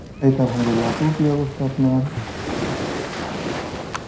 এইতো Arbi, আপু কী অবস্থা আপনার?